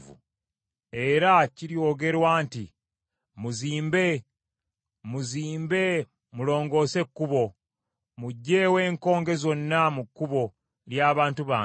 Era kiryogerwa nti, “Muzimbe, muzimbe, mulongoose ekkubo! Muggyeewo enkonge zonna mu kkubo ly’abantu bange.”